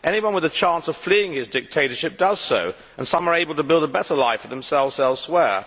Anyone with a chance of fleeing his dictatorship does so, and some are able to build a better life for themselves elsewhere.